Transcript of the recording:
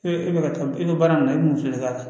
E e bɛ ka taa i bɛ baara min na i bɛ mun fɛ i ka